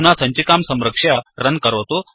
अधुना सञ्चिकां संरक्ष्य रन् करोतु